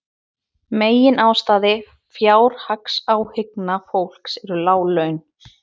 Meginástæða fjárhagsáhyggna fólks eru lág laun